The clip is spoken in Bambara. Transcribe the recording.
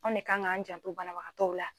Anw ne kan k'an janto banabagatɔw la.